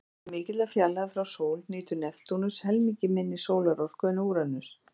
Vegna mikillar fjarlægðar frá sól nýtur Neptúnus helmingi minni sólarorku en Úranus.